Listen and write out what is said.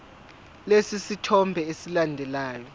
lesi sithombe esilandelayo